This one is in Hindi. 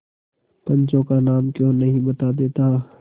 पंचों का नाम क्यों नहीं बता देता